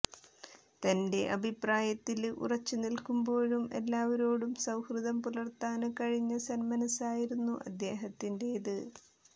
തന്റെ അഭിപ്രായത്തില് ഉറച്ചുനില്ക്കുമ്പോഴും എല്ലാവരോടും സൌഹൃദം പുലര്ത്താന് കഴിഞ്ഞ സന്മനസ്സായിരുന്നു അദ്ദേഹത്തിന്റേത്